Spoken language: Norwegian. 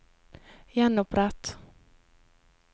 gjenopprett